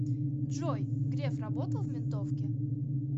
джой греф работал в ментовке